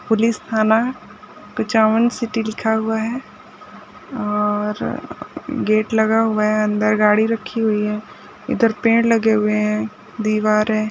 Police थाना Kuchaman city लिखा हुआ हैं और गेट लगा हुआ हैं अंदर गाड़ी रखी हुई हैं इधर पेड़ लगे हुए हैं दीवार हैं।